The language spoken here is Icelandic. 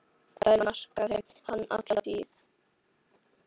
Það markaði hann alla tíð.